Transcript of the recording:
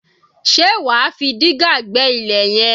Ṣe wà á fi dígà gbẹ́ ilẹ̀ yẹn?